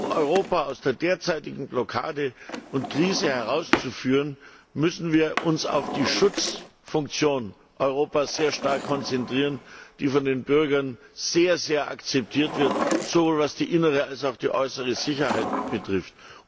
Um Europa aus der derzeitigen Blockade und Krise herauszuführen, müssen wir uns sehr stark auf die Schutzfunktion Europas konzentrieren, die von den Bürgern sehr akzeptiert wird, sowohl was die innere als auch die äußere Sicherheit betrifft.